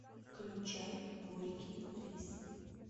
включай горький рис